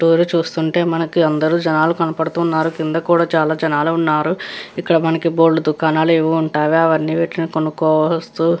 door చూస్తుంటే మనకి అందరు జనాలు కనపడుతున్నారు కింద కూడా చాల జనాలు ఉన్నారు ఇక్కడ మనకి బోల్డు దుకాణాలు యేవో ఉంటాయి అవ్వని వీటిని కొనుకోవస్తు --